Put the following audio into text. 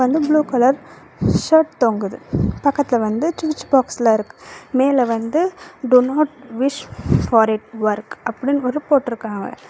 Blue colour shirt தொங்குது பக்கத்துல வந்து சூச் பாக்ஸ்ல இருக்கு மேல வந்து do not wish for it work அப்டின்னு ஒரு போட்ருக்காவ.